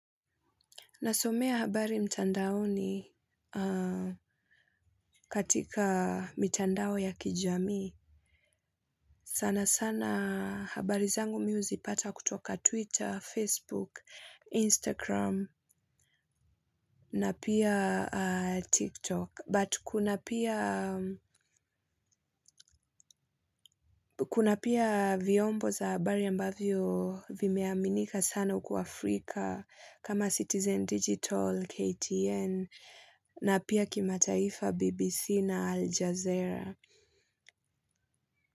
Nasomea habari mtandaoni katika mitandao ya kijamii. Sana sana habari zangu mi huzipata kutoka Twitter, Facebook, Instagram na pia TikTok. But kuna pia vyombo za habari ambavyo vimeaminika sana uku Afrika kama Citizen Digital, KTN, na pia kimataifa BBC na Aljazeera.